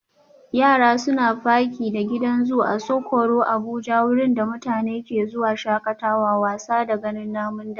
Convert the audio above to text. Yara suna faki da gidan zoo Asokoro Abuja wurin da mutane ke zuwa shakatawa, wasa da ganin namun daji